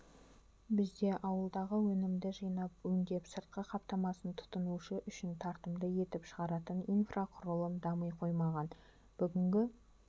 бізде ауылдағы өнімді жинап өңдеп сыртқы қаптамасын тұтынушы үшін тартымды етіп шығаратын инфрақұрылым дами қоймаған бүгінгі